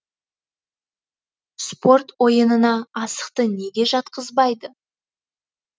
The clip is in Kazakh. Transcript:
спорт ойынына асықты неге жатқызбайды